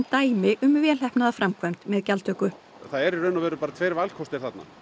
vel heppnaða framkvæmd með gjaldtöku það eru bara tveir valkostir þarna